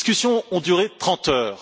Ces discussions ont duré trente heures.